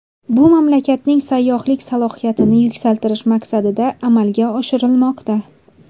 Bu mamlakatning sayyohlik salohiyatini yuksaltirish maqsadida amalga oshirilmoqda.